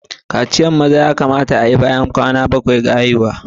Kaciyan yaran maza ya kamata a'yi bayan kwanaki bakwai na haihuwa.